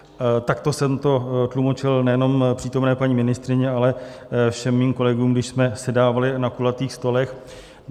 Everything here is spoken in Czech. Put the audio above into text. Takto jsem to tlumočil nejenom přítomné paní ministryni, ale všem svým kolegům, když jsme sedávali na kulatých stolech.